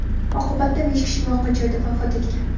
Oqibatda besh kishi voqea joyida vafot etgan.